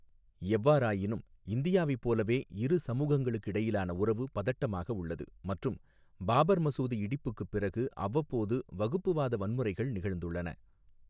எவ்வாறாயினும், இந்தியாவைப் போலவே, இரு சமூகங்களுக்கிடையிலான உறவு பதட்டமாக உள்ளது மற்றும் பாபர் மசூதி இடிப்புக்குப் பிறகு அவ்வப்போது வகுப்புவாத வன்முறைகள் நிகழ்ந்துள்ளன.